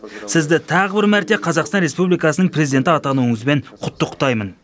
сізді тағы бір мәрте қазақстан республикасының президенті атануыңызбен құттықтаймын